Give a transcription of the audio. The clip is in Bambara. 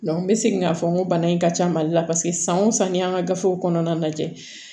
n bɛ segin k'a fɔ n ko bana in ka ca mali la paseke san o san ni an ka gafew kɔnɔna lajɛ